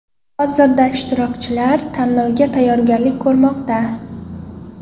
Hozirda ishtirokchilar tanlovga tayyorgarlik ko‘rmoqda.